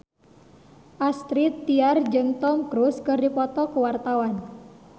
Astrid Tiar jeung Tom Cruise keur dipoto ku wartawan